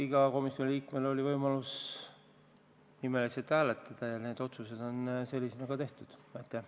Igal komisjoni liikmel oli võimalus nimeliselt hääletada ja sellised need otsused said.